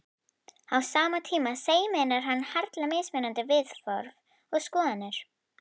Á sama tíma sameinar hann harla mismunandi viðhorf og skoðanir.